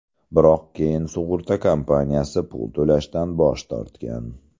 Biroq keyin sug‘urta kompaniyasi pul to‘lashdan bosh tortgan.